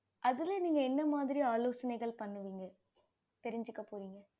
அதுல நீங்க என்ன மாரியான ஆலோசைனைகள் பண்ணுவிங்க தெரிஞ்சிக்போரிங்க